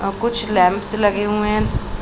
और कुछ लैंप्स लगे हुए हैं।